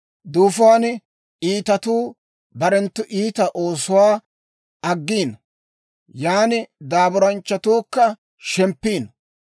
Duufuwan iitatuu barenttu iita oosuwaa aggiino; yaan daaburanchchatuukka shemppiino.